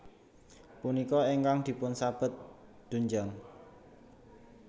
Punika ingkang dipunsebat doenjang